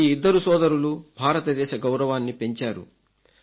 ఈ ఇద్దరు సోదరులు భారతదేశ గౌరవాన్ని పెంచారు